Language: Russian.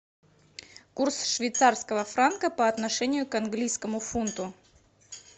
курс швейцарского франка по отношению к английскому фунту